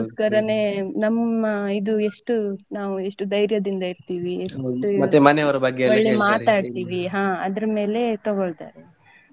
ಅದಕ್ಕೊಸ್ಕರನೆ ನಮ್ಮ ಇದು ಎಷ್ಟು ನಾವು ಎಷ್ಟು ದೈರ್ಯದಿಂದ ಇರ್ತೀವಿ ಒಳ್ಳೆ ಮಾತಾಡ್ತೀವಿ ಹ ಅದ್ರ ಮೇಲೆ ತೊಗೊಳ್ತಾರೆ.